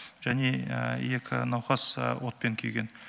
және екі науқас отпен күйген